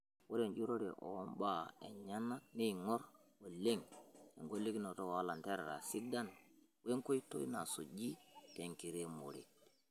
Ore enjurore ombaa enyenak neingor oleng engelunoto oo lanterera sidain wenkoitoi nasuji tenkiremore.